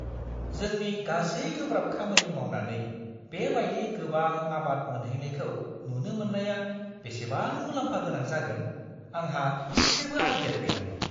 जोंनि गासै गोब्राब खामानि मावनानै बे बायदि गोबां आबाद मोनहैनायखौ नुनो मोन्नाया बेसेबां मुलाम्फा गोनां जागोन आंहा इसेबो आइडिया गैयामोन।